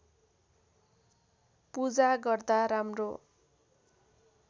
पूजा गर्दा राम्रो